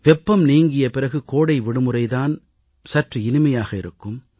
வெப்பம் நீங்கிய பிறகு கோடை விடுமுறை தான் சற்று இனிமையாக இருக்கும்